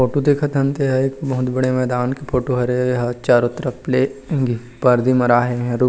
photo देखत हन ते हा बहुत बड़े मैदान के फोटो हरे एहा चारो तरफ ले पर्दी मरा हे इहा--